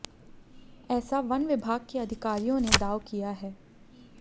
ऐसा वन विभाग के अधिकारियों ने दाव किया है